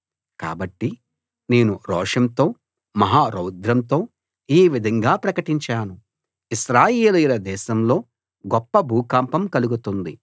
కాబట్టి నేను రోషంతో మహా రౌద్రంతో ఈ విధంగా ప్రకటించాను ఇశ్రాయేలీయుల దేశంలో గొప్ప భూకంపం కలుగుతుంది